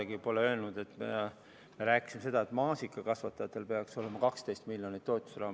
Ei, ma pole kordagi öelnud, nagu me oleksime rääkinud sellest, et maasikakasvatajatel peaks olema 12 miljonit eurot toetusraha.